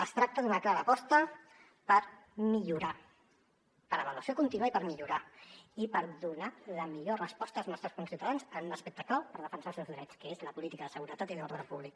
es tracta d’una clara aposta per millorar per avaluació contínua i per millorar i per donar la millor resposta als nostres conciutadans en un aspecte clau per defensar els seus drets que és la política de seguretat i de l’ordre públic